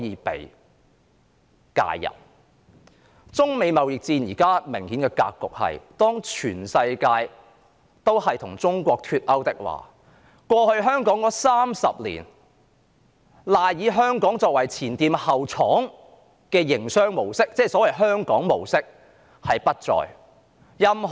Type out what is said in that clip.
此外，中美貿易戰現時的明顯格局是，當世界各國均與中國脫鈎，香港過去30年賴以發展的"前店後廠"經濟模式——即所謂的香港模式——不復存在。